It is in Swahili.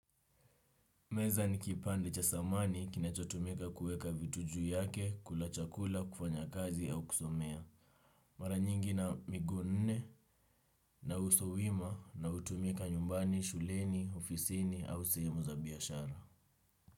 Meza ni kipande cha samani kinachotumika kuweka vitu juu yake, kula chakula, kufanya kazi au kusomea. Mara nyingi ina miguu nne na uso wima na hutumika nyumbani, shuleni, ofisini au sehemu za biashara.